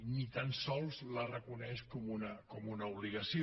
ni tan sols la reconeix com una obligació